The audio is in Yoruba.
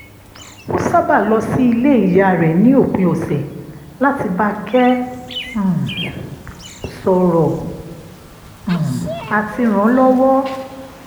ó sábàa lọ sí ilé ìyá rẹ̀ ní òpin ọ̀sẹ̀ láti bákẹ́ um sọ̀rọ̀ um àti ràn án lọ́wọ́